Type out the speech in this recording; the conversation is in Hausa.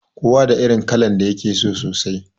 Kowa da irin kalar da yake so sosai